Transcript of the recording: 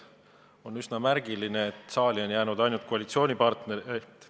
On üsna märgiline, et saali on jäänud ainult koalitsioonipartnerite esindajad.